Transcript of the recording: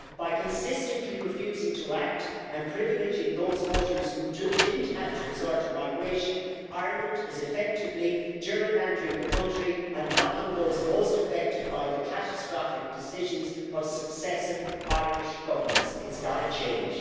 By consistently refusing to act and privileging those voters who didn't have to resort to migration, Ireland is effectively gerrymandering the country and blocking those most affected by the catastrophic decisions of successive Irish governments. It's got to change.